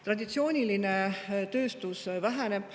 Traditsiooniline tööstus väheneb.